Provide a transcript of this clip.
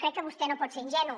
crec que vostè no pot ser ingenu